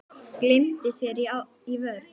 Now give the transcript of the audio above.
Gleymdi sér í vörn.